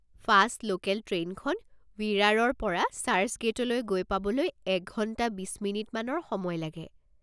Fast local ট্ৰেইনখন ৱিৰাৰৰ পৰা চাৰ্চগেইটলৈ গৈ পাবলৈ এক ঘণ্টা বিশ মিনিটমানৰ সময় লাগে।